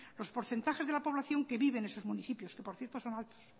los porcentajes de la población que vive en esos municipios que por cierto son altos